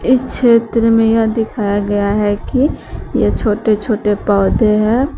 इस क्षेत्र में यह दिखाया गया है कि यह छोटे छोटे पौधे हैं।